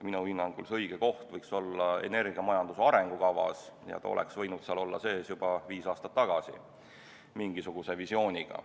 Minu hinnangul võiks õige koht selleks olla energiamajanduse arengukava ja see oleks võinud mingisuguse visiooniga seal sees olla juba viis aastat tagasi.